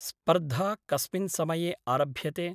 स्पर्धा कस्मिन् समये आरभ्यते?